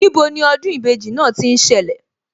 Níbo ni ọdún ìbejì náà tí ń ṣẹlẹ̀